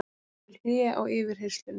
Hún gerir hlé á yfirheyrslunni.